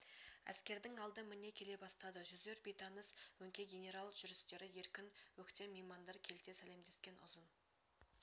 әскердің алды міне келе бастады жүздер бейтаныс өңкей генерал жүрістері еркін өктем меймандар келте сәлемдескен ұзын